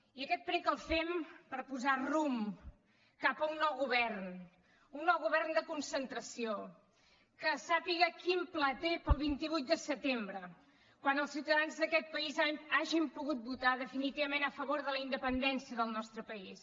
i aquest prec el fem per posar rumb cap a un nou govern un nou govern de concentració que sàpiga quin pla té per al vint vuit de setembre quan els ciutadans d’aquest país hagin pogut votar definitivament a favor de la independència del nostre país